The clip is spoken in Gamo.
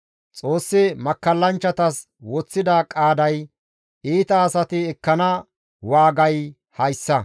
Xoossi makkallanchchatas woththida qaaday, iita asati ekkana waagay hayssa.»